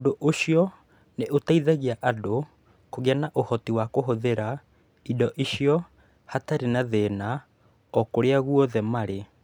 Ũndũ ũcio nĩ ũgũteithagia andũ kũgĩa na ũhoti wa kũhũthĩra indo icio hatarĩ thĩna o kũrĩa guothe marĩ.